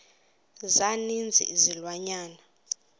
za ninzi izilwanyana